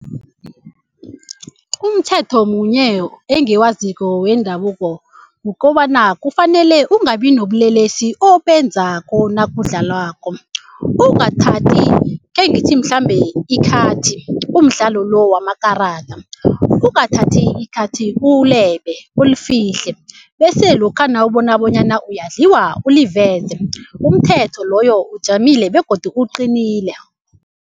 Umthetho munye engiwaziko wendabuko kukobana kufanele kungabi nobulelesi obenzako nakudlalwako ungathathi khengithi mhlambe ikhathi umdlalo lo wamakarada. Ungathathi ikhathi ulebe ulufihle bese lokha nawubona bonyana uyadliwa uliveze umthetho loyo ujamile begodu uqinile.